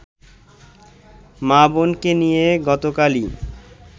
মা-বোনকে নিয়ে গতকালই